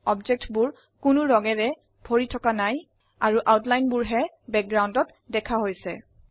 বস্তুবোৰ কোনো ৰঙেৰে ভৰি থকা নাই আৰু আউটলাইনবোৰ হে বাগগ্ৰাওন্দত দেখা হৈছে